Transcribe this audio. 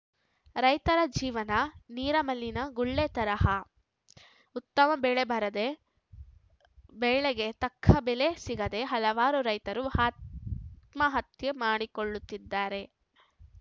ರೈತರ ಜೀವನ ನೀರ ಮಲ್ಲಿನ ಗುಳ್ಳೆ ತರಹ ಉತ್ತಮ ಬೆಳೆ ಬಾರದೇ ಬೆಳ್ಳೆಗೆ ತಕ್ಕ ಬೆಲೆ ಸಿಗದೇ ಹಲವಾರು ರೈತರು ಆತ್ಮಹತ್ಯೆ ಮಾಡಿಕೊಳ್ಳುದಿದ್ದಾರೆ